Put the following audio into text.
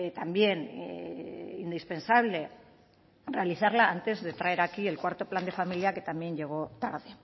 también indispensable realizarla antes de traer aquí el cuarto plan de familia que también llegó tarde